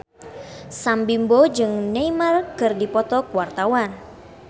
Sam Bimbo jeung Neymar keur dipoto ku wartawan